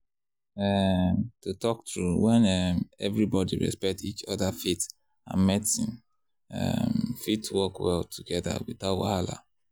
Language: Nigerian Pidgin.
um to talk true when um everybody respect each other faith and medicine um fit work well together without wahala.